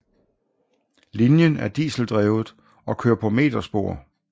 Linjen er diseldrevet og kører på meterspor